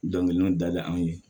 Dɔnkiliw da bɛ anw ye